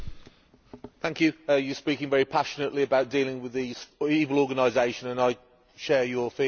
You are speaking very passionately about dealing with this evil organisation, and I share your feelings on it.